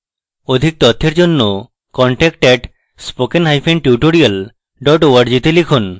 অধিক বিবরণের জন্য contact @spokentutorial org তে লিখুন